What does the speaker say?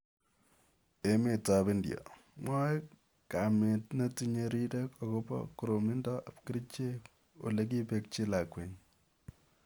Emet ap india: Mwaae kamiit netinyee riirek akobo koroomindo ap kercheek olekiipeekchi lakwenyi